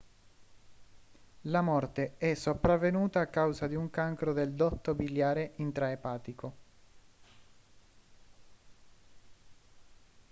la morte è sopravvenuta a causa di un cancro del dotto biliare intraepatico